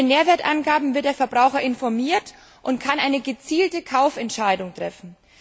Mit den Nährwertangaben wird der Verbraucher informiert und kann eine gezielte Kaufentscheidung treffen.